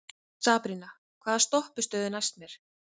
Sabrína, hvaða stoppistöð er næst mér?